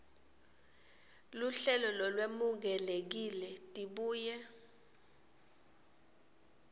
luhlelo lolwemukelekile tibuye